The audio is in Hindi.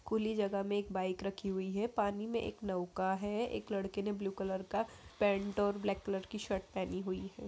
खुली जगह में एक बाइक रखी हुई है। पानी में एक नौका है। एक लड़के ने ब्लू कलर का पेन्ट और ब्लैक कलर की शर्ट पहनी हुई है।